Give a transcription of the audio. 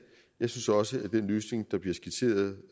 jeg synes også at den løsning der bliver skitseret